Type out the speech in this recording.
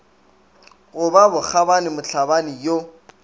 go ba bokgabani mohlabani yo